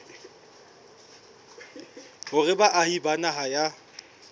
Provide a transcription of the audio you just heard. hore baahi ba naha ya